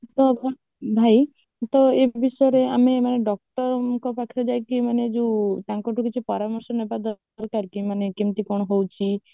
ତ ଭାଇ ମାନେ ତ ଏ ବିଷୟରେ ଆମେ ମାନେ doctor ଙ୍କ ପାଖରେ ଯାଇକି ମାନେ ଯୋଉ ତାଙ୍କଠୁ ପରାମର୍ଶ ନେବା ଦରକାର କି ମାନେ କେମିତି କଣ ହଉଛି